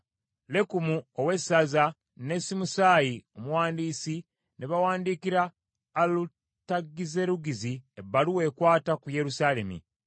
Lekumu ow’essaza, ne Simusaayi omuwandiisi ne bawandiikira Alutagizerugizi ebbaluwa ekwata ku Yerusaalemi.